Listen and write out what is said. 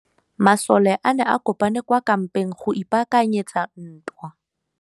Masole a ne a kopane kwa kampeng go ipaakanyetsa ntwa.